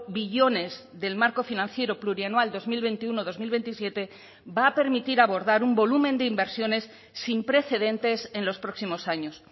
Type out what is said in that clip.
billones del marco financiero plurianual dos mil veintiuno dos mil veintisiete va a permitir abordar un volumen de inversiones sin precedentes en los próximos años